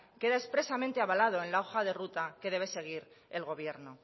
queda expresamente avalado en la hoja de ruta que debe seguir el gobierno